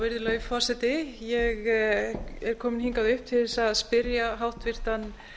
virðulegi forseti ég er komin hingað upp til þess að spyrja hæstvirtan